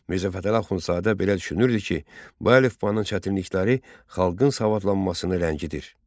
Mirzə Fətəli Axundzadə belə düşünürdü ki, bu əlifbanın çətinlikləri xalqın savadlanmasını rədd edir.